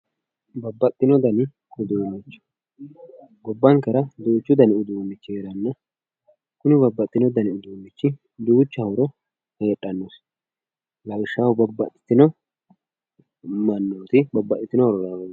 babbaxxitino dani uduunnicho gobbankera duuchu dani uduunnichi heeranna kuni babbaxxitino dani uduunnicho duucha horo heedhannosi lawishshaho babbaxxitino mannooti babbaxxitino horora.